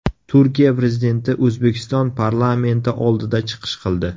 Turkiya Prezidenti O‘zbekiston parlamenti oldida chiqish qildi.